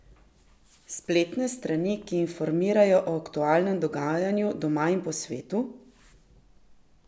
Spletne strani, ki informirajo o aktualnem dogajanju doma in po svetu?